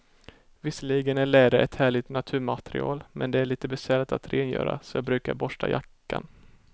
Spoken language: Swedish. Visserligen är läder ett härligt naturmaterial, men det är lite besvärligt att rengöra, så jag brukar borsta jackan.